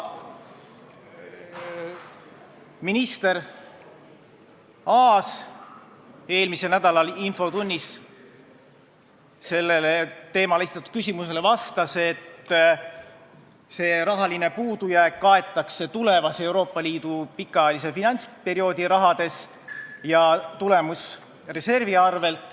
Minister Aas ütles eelmisel nädalal infotunnis sellel teemal esitatud küsimusele vastates, et see rahaline puudujääk kaetakse Euroopa Liidu järgmise pikaajalise finantsperioodi rahadest ja tulemusreservi arvel.